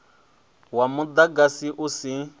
wa mu agasi u sa